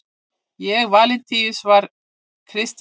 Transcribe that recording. og valentínus var kristinn